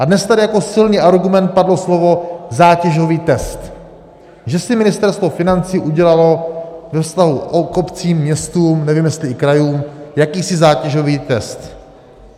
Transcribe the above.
A dnes tady jako silný argument padlo slovo zátěžový test, že si Ministerstvo financí udělalo ve vztahu k obcím, městům, nevím, jestli i krajům, jakýsi zátěžový test.